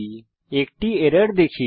আমরা একটি এরর দেখি